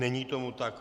Není tomu tak.